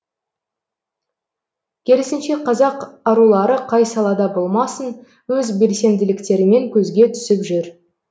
керісінше қазақ арулары қай салада болмасын өз белсенділіктерімен көзге түсіп жүр